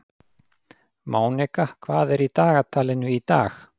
Mónika, hvað er í dagatalinu í dag?